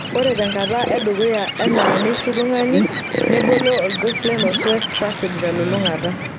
Ore tenkata edukuya anaa neishu tung'ani, nebolo olgos le Northwest Passage telulungata.